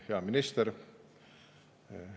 Hea minister!